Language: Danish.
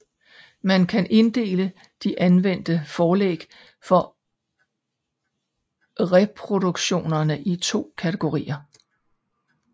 Man kan inddele de anvendte forlæg for reproduktionerne i to kategorier